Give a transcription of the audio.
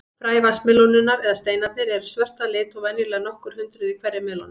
Fræ vatnsmelónunnar, eða steinarnir, eru svört að lit og venjulega nokkur hundruð í hverri melónu.